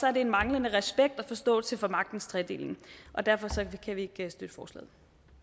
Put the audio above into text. er det en manglende respekt og forståelse for magtens tredeling og derfor kan vi ikke støtte forslaget